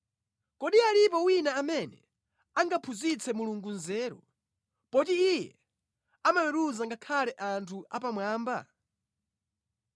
“Kodi alipo wina amene angaphunzitse Mulungu nzeru, poti Iye amaweruza ngakhale anthu apamwamba?